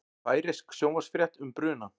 Færeysk sjónvarpsfrétt um brunann